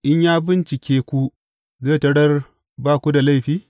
In ya bincike ku zai tarar ba ku da laifi?